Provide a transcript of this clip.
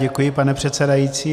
Děkuji, pane předsedající.